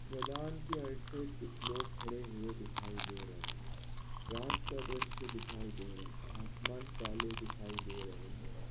मैदान की आइड साइड कुछ लोग खड़े हुए दिखाई दे रहे हैं रात का दृश्य दिखाई दे रहा है आसमान काले दिखाई दे रहे हैं।